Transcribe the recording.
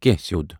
کینٛہہ سیٚود۔